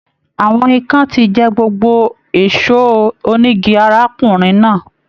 Àwọn ìkan tí jẹ gbogbo ẹṣọ onígí arákùnrin náà.